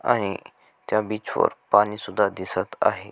आणि त्या बीच वर पाणी सुद्धा दिसत आहे.